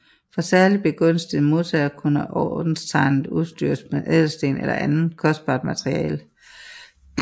For særlig begunstigede modtagere kunne ordenstegnet udstyres med ædelstene eller andet kostbart materiale